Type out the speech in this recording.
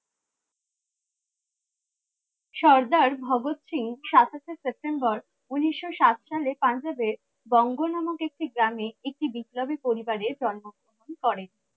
সর্দার ভগৎ সিং সাতাশে সেপ্টেম্বর ঊনিশশো সাত সালে পাঞ্জাবে বঙ্গ নামক একটি গ্রামে একটি বিদ্রোহী পরিবারে জন্ম গ্রহণ করেন